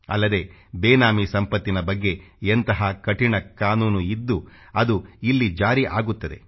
ಅಲ್ಲದೆ ಬೇನಾಮಿ ಸಂಪತ್ತಿನ ಬಗ್ಗೆ ಎಂಥ ಕಠಿಣ ಕಾನೂನು ಇದ್ದು ಅದು ಇಲ್ಲಿ ಜಾರಿ ಆಗುತ್ತದೆ